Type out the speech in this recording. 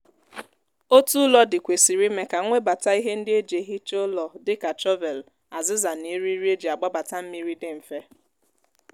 otu ụlọ dị kwesịrị ime ka nwebata ihe ndi e ji ehicha ụlọ dịka shọvelụ aziza na eriri e ji agbabata mmiri dị mfe